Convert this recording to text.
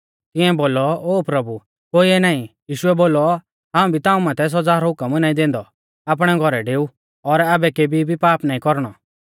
तिआऐं बोलौ ओ प्रभु कोइऐ नाईं यीशुऐ बोलौ हाऊं भी ताऊं माथै सौज़ा रौ हुकम नाईं दैंदौ आपणै घौरै डेऊ और आबै केभी भी पाप नाईं कौरणौ